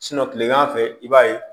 kilegan fɛ i b'a ye